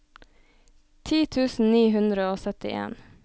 ti tusen ni hundre og syttien